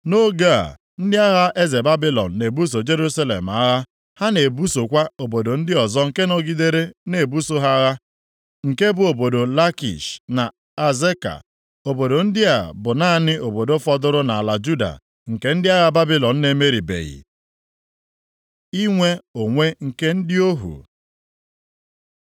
Nʼoge a, ndị agha eze Babilọn na-ebuso Jerusalem agha. Ha na-ebusokwa obodo ndị ọzọ nke nọgidere na-ebuso ha agha, nke bụ obodo Lakish na Azeka. Obodo ndị a bụ naanị obodo fọdụrụ nʼala Juda nke ndị agha Babilọn na-emeribeghị. Inwe onwe nke ndị ohu